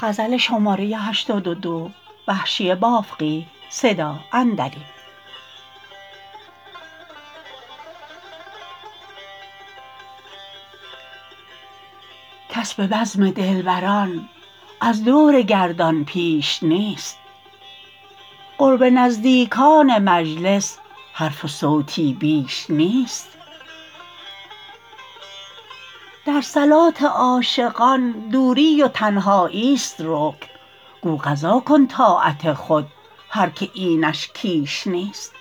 کس به بزم دلبران از دور گردان پیش نیست قرب نزدیکان مجلس حرف و صوتی بیش نیست در صلات عاشقان دوری و تنهاییست رکن گو قضا کن طاعت خود هر که اینش کیش نیست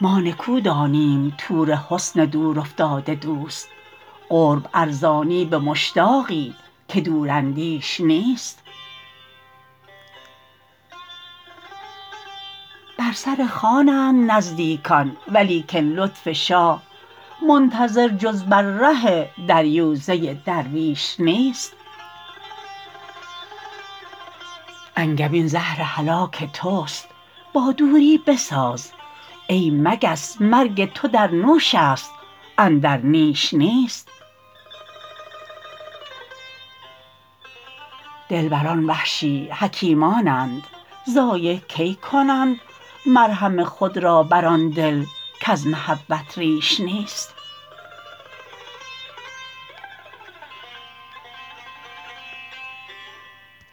ما نکو دانیم طور حسن دور افتاده دوست قرب ارزانی به مشتاقی که دور اندیش نیست بر سر خوانند نزدیکان ولیکن لطف شاه منتظر جز بر ره دریوزه درویش نیست انگبین زهر هلاک تست با دوری بساز ای مگس مرگ تو در نوش است اندر نیش نیست دلبران وحشی حکیمانند ضایع کی کنند مرهم خود را بر آن دل کز محبت ریش نیست